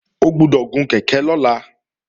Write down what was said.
O gbọ́dọ̀ gun kèké lọ́la!